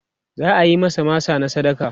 za'ayi masa masa na sadaka